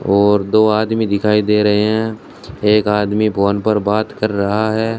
और दो आदमी दिखाई दे रहे हैं एक आदमी फोन पर बात कर रहा है।